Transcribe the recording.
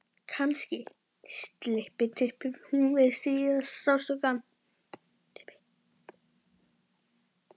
Kannski slyppi hún við síðasta sársaukann.